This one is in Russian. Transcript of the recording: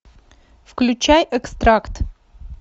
включай экстракт